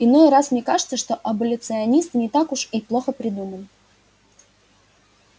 иной раз мне кажется что аболиционисты не так-то уж и плохо придуман